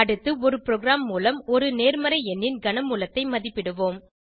அடுத்து ஒரு ப்ரோகிராம் மூலம் ஒரு நேர்மறை எண்ணின் கனமூலத்தை மதிப்பிடுவோம்